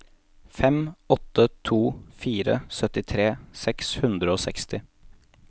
fem åtte to fire syttitre seks hundre og seksti